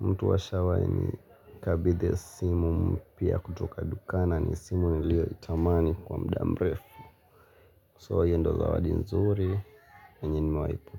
Mtu ashawahi nikabidhi simu mpya kutoka dukani na ni simu niiliyoitamani kwa muda mrefu. Hio ndio zawadi nzuri yenye nimawahi kupokea.